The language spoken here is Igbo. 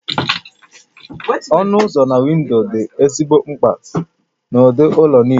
Ọnụ ụzọ na windo dị ezigbo mkpa n'ụdị ụlọ niile